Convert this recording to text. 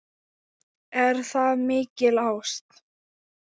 Er það mikil ást?